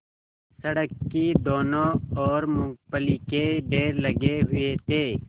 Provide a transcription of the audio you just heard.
सड़क की दोनों ओर मूँगफली के ढेर लगे हुए थे